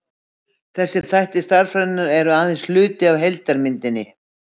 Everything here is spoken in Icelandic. þessir þættir stærðfræðinnar eru þó aðeins hluti af heildarmyndinni